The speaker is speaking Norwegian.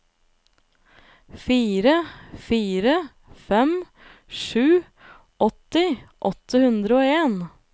fire fire fem sju åtti åtte hundre og en